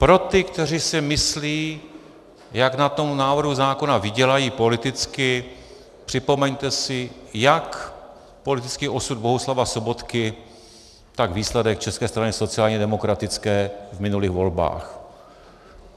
Pro ty, kteří si myslí, jak na tom návrhu zákona vydělají politicky, připomeňte si jak politický osud Bohuslava Sobotky, tak výsledek České strany sociálně demokratické v minulých volbách.